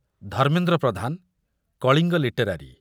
Dharmendra Pradhan, Kalinga literary